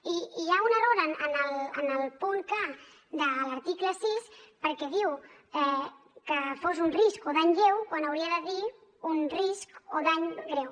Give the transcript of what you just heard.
i hi ha un error en el punt k de l’article sis perquè diu que fos un risc o dany lleu quan hauria de dir un risc o dany greu